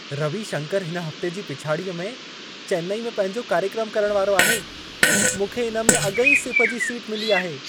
रवी शंकरु हिन हफ़्ते जी पिछाड़ीअ में चेन्नई में पंहिंजो कार्यक्रम करण वारो आहे। मूंखे इन में अॻिईं सिफ़ जी सीट मिली आहे।